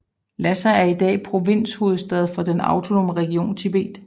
Lhassa er i dag provinshovedstad for den Autonome region Tibet